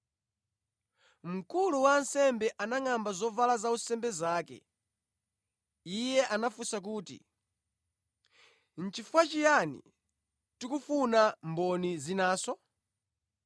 Mkulu wa ansembe anangʼamba zovala zaunsembe zake. Iye anafunsa kuti, “Chifukwa chiyani tikufuna mboni zinanso?